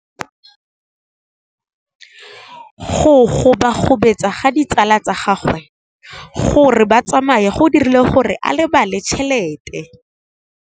Go gobagobetsa ga ditsala tsa gagwe, gore ba tsamaye go dirile gore a lebale tšhelete.